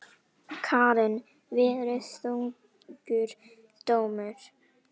Karen: Verið þungur dómur?